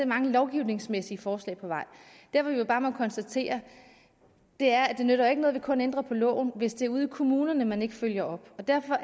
mange lovgivningsmæssige forslag på vej det vi jo bare må konstatere er at det ikke nytter noget kun at ændre loven hvis det er ude i kommunerne man ikke følger op derfor